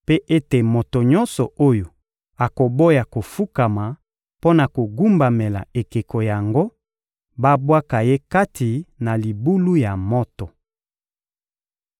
mpe ete moto nyonso oyo akoboya kofukama mpo na kogumbamela ekeko yango, babwaka ye kati na libulu ya moto!